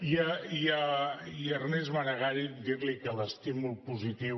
i a ernest maragall dir li que l’estímul positiu